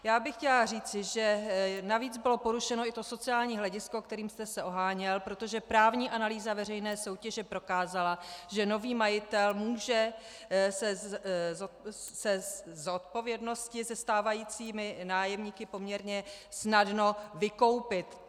Já bych chtěla říci, že navíc bylo porušeno i to sociální hledisko, kterým jste se oháněl, protože právní analýza veřejné soutěže prokázala, že nový majitel se může ze zodpovědnosti se stávajícími nájemníky poměrně snadno vykoupit.